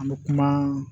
An bɛ kuma